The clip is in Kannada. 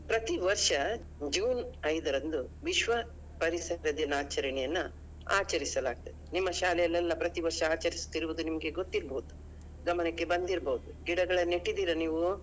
ಪ್ರತಿ ವರ್ಷ June ಐದರಂದು ವಿಶ್ವ ಪರಿಸರ ದಿನಾಚರಣೆಯನ್ನಾ ಆಚರಿಸಲಾಗುತ್ತದೆ. ನಿಮ್ಮ ಶಾಲೆಯಲೆಲ್ಲಾ ಪ್ರತಿ ವರ್ಷ ಆಚರಿಸುತ್ತಿರುವುದು ನಿಮ್ಗೆ ಗೊತ್ತಿರ್ಬೋದು, ಗಮನಕ್ಕೆ ಬಂದಿರ್ಬೋದು ಗಿಡಗಳನ್ನು ನೆಟ್ಟಿದೀರಾ ನೀವು?